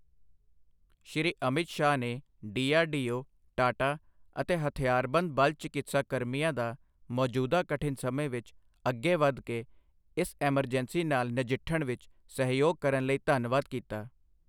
ਸ਼੍ਰੀ ਅਮਿਤ ਸ਼ਾਹ ਨੇ ਡੀਆਰਡੀਓ, ਟਾਟਾ ਅਤੇ ਹਥਿਆਰਬੰਦ ਬਲ ਚਿਕਿਤਸਾ ਕਰਮੀਆਂ ਦਾ ਮੌਜੂਦਾ ਕਠਿਨ ਸਮੇਂ ਵਿੱਚ ਅੱਗੇ ਵਧ ਕੇ ਇਸ ਐਮਰਜੈਂਸੀ ਨਾਲ ਨਜਿੱਠਣ ਵਿੱਚ ਸਹਿਯੋਗ ਕਰਨ ਲਈ ਧੰਨਵਾਦ ਕੀਤਾ।